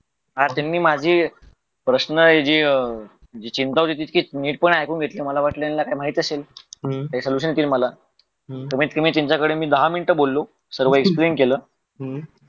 हा त्यांनी माझी प्रश्न जी अं चिंता होती ती नीट ऐकून घेतली मला वाटलं याना काही माहित असेल ते विचारतील मला कमीत कमी मी त्यांच्याकड दहा मिनटं बोलों सर्व एक्सप्लेन केलं